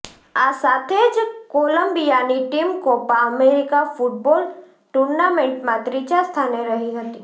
આ સાથે જ કોલંબિયાની ટીમ કોપા અમેરિકા ફૂટબોલ ટૂર્નામેન્ટમાં ત્રીજા સ્થાને રહી હતી